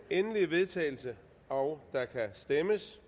endelige vedtagelse og der kan stemmes